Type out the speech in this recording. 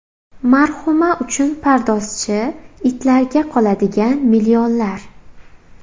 Marhuma uchun pardozchi, itlarga qoladigan millionlar.